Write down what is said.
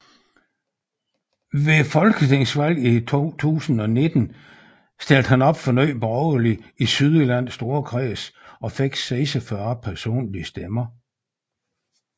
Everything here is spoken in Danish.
Ved folketingsvalget 2019 stillede han op for Nye Borgerlige i Sydjyllands Storkreds og fik 46 personlige stemmer